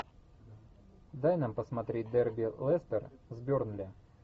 дай нам посмотреть дерби лестер с бернли